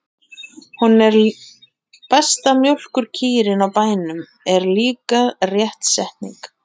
Hún er besta mjólkurkýrin á bænum, er líka rétt setning.